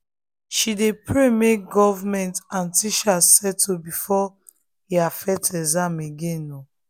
she dey pray make government and teachers settle before he affect exams again.